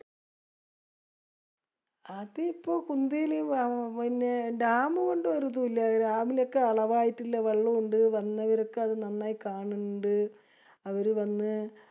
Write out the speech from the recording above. പതിപ്പോ കുന്ദയില് പിന്നെ dam ഒരുതുഇല്ല. Dam യിലൊക്കെ അളവായിട്ടുള്ള വെള്ളോം ഇണ്ട് വന്നവരൊക്കെ അത് നന്നായി കാണിണ്ട്. അവര് വന്ന്